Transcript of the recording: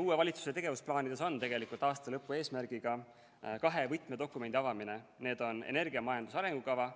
Uue valitsuse tegevusplaanides on tegelikult aasta lõpu eesmärgiga kahe võtmedokumendi avamine, need on energiamajanduse arengukava